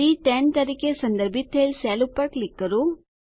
C10 તરીકે સંદર્ભિત થયેલ સેલ પર ક્લિક કરો